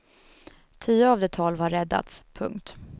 Tio av de tolv har räddats. punkt